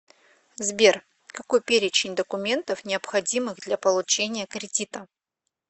сбер какой перечень документов необходимых для получения кредита